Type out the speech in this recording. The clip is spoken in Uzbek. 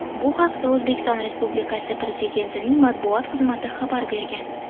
Bu haqda O‘zbekiston Respublikasi Prezidentining matbuot xizmati xabar bergan .